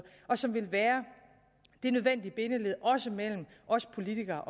og som vil være det nødvendige bindeled også mellem os politikere